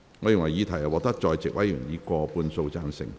我認為議題獲得在席委員以過半數贊成。